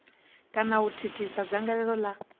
kana u thithisa dzangalelo la